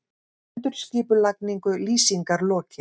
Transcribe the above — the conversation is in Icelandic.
Endurskipulagningu Lýsingar lokið